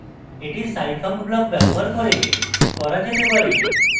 এটি scifunc block ব্যবহার করে করা যেতে পারে